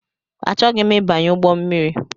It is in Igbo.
Achọghị m ịbanye ụgbọmmiri